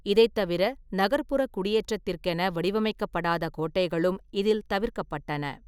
இதைத் தவிர, நகர்ப்புற குடியேற்றத்திற்கென வடிவமைக்கப்படாத கோட்டைகளும் இதில் தவிர்க்கப்பட்டன.